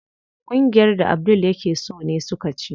Kungiyar da Abdul yake so ne suka ci.